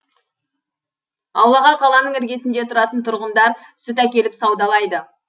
аулаға қаланың іргесінде тұратын тұрғындар сүт әкеліп саудалайды